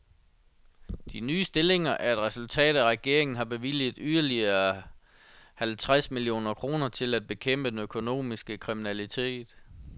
De nye stillinger er et resultat af, at regeringen har bevilget yderligere halvtreds millioner kroner til at bekæmpe den økonomiske kriminalitet.